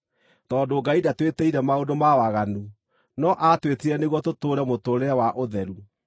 Tondũ Ngai ndatwĩtĩire maũndũ ma waganu, no aatwĩtire nĩguo tũtũũre mũtũũrĩre wa ũtheru.